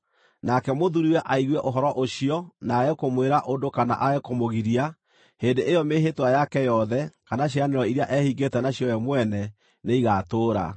nake mũthuuriwe aigue ũhoro ũcio, no aage kũmwĩra ũndũ kana aage kũmũgiria, hĩndĩ ĩyo mĩĩhĩtwa yake yothe, kana ciĩranĩro iria ehingĩte nacio we mwene, nĩigatũũra.